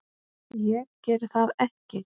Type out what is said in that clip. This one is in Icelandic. Ég geri það ekki.